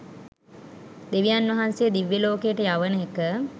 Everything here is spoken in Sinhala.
දෙවියන් වහන්සේ දිව්‍යලෝකයට යවන එක.